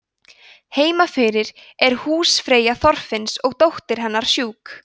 heima fyrir er húsfreyja þorfinns og dóttir hennar sjúk